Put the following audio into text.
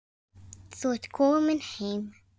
Þú ert komin heim.